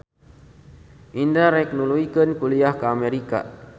Indra rek nuluykeun kuliah ka Amerika